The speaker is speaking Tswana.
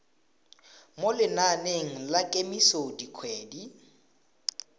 mo lenaneng la kemiso dikgwedi